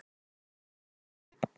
En svo er greinilega ekki.